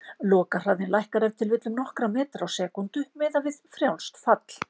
Lokahraðinn lækkar ef til vill um nokkra metra á sekúndu, miðað við frjálst fall.